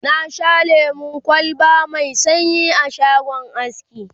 na Sha lemun kwalba Mai sanyi a shagon aski